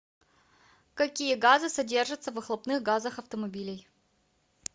какие газы содержатся в выхлопных газах автомобилей